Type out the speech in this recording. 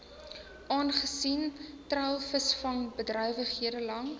aangesien treilvisvangbedrywighede langs